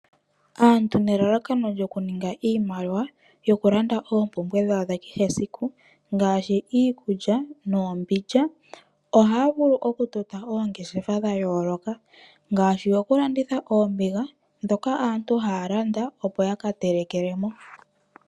Aantu nelalakono lyo kuninga iimaliwa yo kulanda oompumbwe dhawo dha kehe esiku ngaashi iikulya noombindja. Ohaa vulu okutota oongeshefa dha yooloka ngaashi yoku landitha oombiga dhoka aantu haa landa opo yaka telekelemo.